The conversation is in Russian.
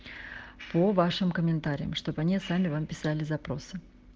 по вашим комментариям чтобы они сами вам писали запросы